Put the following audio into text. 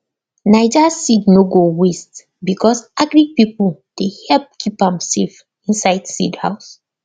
naija seed no go waste becos agric pipo dey help keep am safe inside seed house